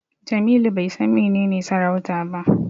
Jamilu bai san menene sarauta ba.